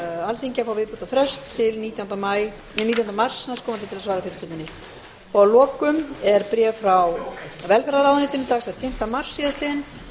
alþingi að fá viðbótarfrest til nítjánda mars næstkomandi til að svara fyrirspurninni að lokum er bréf frá velferðarráðuneytinu dagsett sjötta mars síðastliðinn